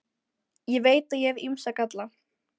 Ég veit að ég hef ýmsa galla.